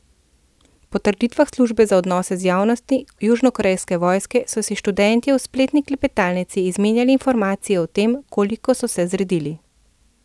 Po trditvah službe za odnose z javnostmi južnokorejske vojske so si študentje v spletni klepetalnici izmenjali informacije o tem, koliko so se zredili.